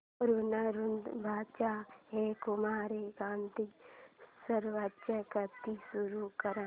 ऋणानुबंधाच्या हे कुमार गंधर्वांचे गीत सुरू कर